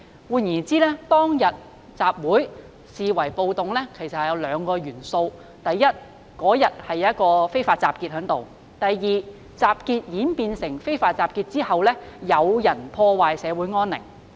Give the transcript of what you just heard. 換言之，當天集會視為暴動有兩個原因：第一，當日出現非法集結；第二，集結演變成非法集結後，有人破壞社會安寧。